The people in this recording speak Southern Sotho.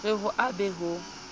re ho a be ho